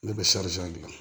Ne bɛ gilan